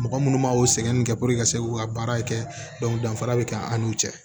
Mɔgɔ munnu b'o sɛgɛn kɛ puruke ka se k'u ka baara kɛ danfara bɛ kɛ an n'u cɛ